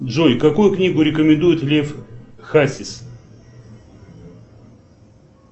джой какую книгу рекомендует лев хасис